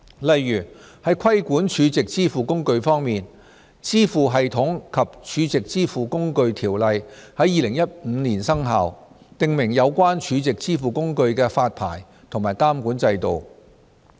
例如在規管儲值支付工具方面，《支付系統及儲值支付工具條例》於2015年生效，訂明有關儲值支付工具的發牌及監管制度。